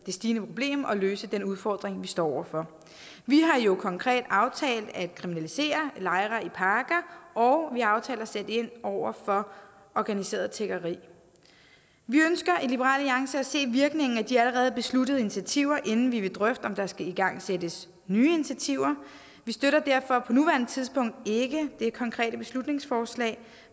stigende problem og løse den udfordring vi står over for vi har jo konkret aftalt at kriminalisere lejre i parker og vi har aftalt at sætte ind over for organiseret tiggeri vi ønsker i liberal alliance at se virkningen af de allerede besluttede initiativer inden vi vil drøfte om der skal igangsættes nye initiativer vi støtter derfor på nuværende tidspunkt ikke det konkrete beslutningsforslag